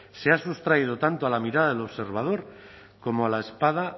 se ha sustraído tanto a la mirada del observador como a la espada